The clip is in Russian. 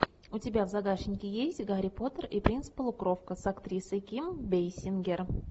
у тебя в загашнике есть гарри поттер и принц полукровка с актрисой ким бейсингер